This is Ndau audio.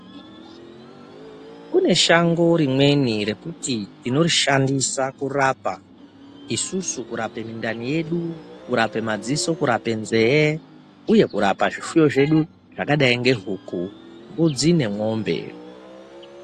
Kune shango rimweni rekuti tinorishandisa kurapa isusu kurape mindani yedu kurapa madziso kurapa nzeve uye kurape zvipfuyo zvedu zvakadai nemombe nembudzi .